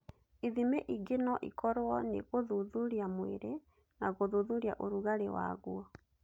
Ithimi ingĩ no ikorũo nĩ gũthuthuria mwĩrĩ na gũthuthuria ũrugarĩ waguo.